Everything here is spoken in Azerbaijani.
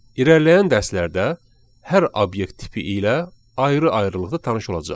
İrəliləyən dərslərdə hər obyekt tipi ilə ayrı-ayrılıqda tanış olacağıq.